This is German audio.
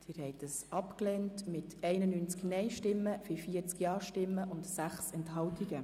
Sie haben die Planungserklärung 1 abgelehnt mit 91 Nein- zu 40 Ja-Stimmen bei 6 Enthaltungen.